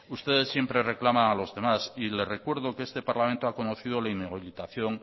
ustedes siempre reclaman a los demás y le recuerdo que este parlamento ha conocido la inhabilitación